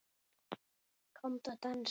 Komdu að dansa